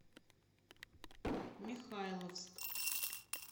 михайловск